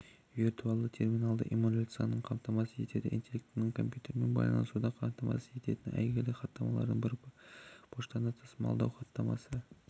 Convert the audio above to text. виртуальді терминалды эмуляцияны қамтамасыз етеді интеллектілі компьютермен байланысуды қамтамасыз ететін әйгілі хаттамалардың бірі поштаны тасымалдау хаттамасы